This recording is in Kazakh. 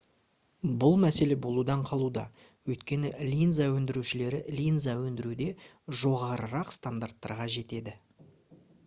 бұл мәселе болудан қалуда өйткені линза өндірушілері линза өндіруде жоғарырақ стандарттарға жетеді